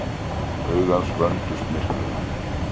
Augu hans vöndust myrkrinu.